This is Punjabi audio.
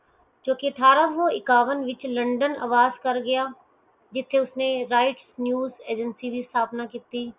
ਕਿਉਕਿ ਅਠਾਰਸੋ ਕਵਿੰਜਾ ਵਿੱਚ ਲੰਡਨ ਆਬਾਦ ਕਰ ਗਿਆ ਜਿਸ ਨਾਲ ਉਸਨੇ rights news agency ਦੀ ਸਥਾਪਨਾ ਕੀਤੀ